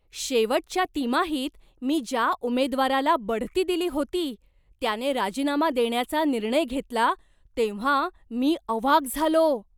शेवटच्या तिमाहीत मी ज्या उमेदवाराला बढती दिली होती, त्याने राजीनामा देण्याचा निर्णय घेतला तेव्हा मी अवाक झालो.